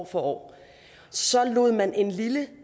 for år så lod man en lille